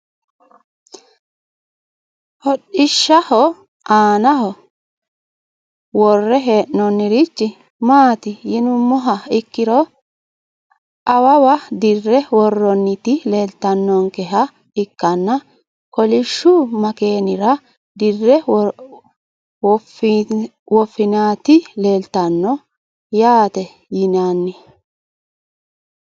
Hodhishshaho aana ho wore heenonirich maati yinumoha ikiro awawa dirre worooniti leeltanonkeha ikkana kolishshu makeenira dirre wofooniti leeltano yaate yinani.